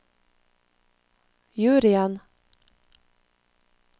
juryen